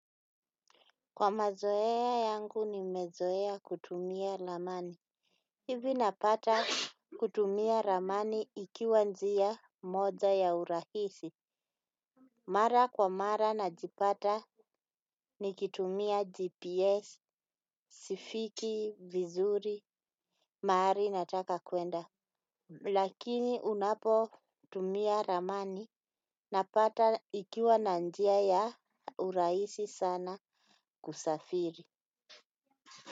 Kwa mazoea yangu ni mezoea kutumia lamani. Hivi napata kutumia ramani ikiwa njia moja ya urahisi. Mara kwa mara na jipata ni kitumia GPS, sifiki, vizuri, mari na taka kuenda. Lakini unapo tumia ramani napata ikiwa na njia ya urahisi sana kusafiri.